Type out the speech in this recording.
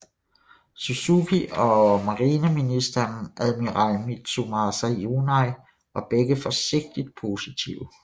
Suzuki og marineministeren admiral Mitsumasa Yonai var begge forsigtigt positive